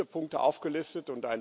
Wir haben viele Punkte aufgelistet.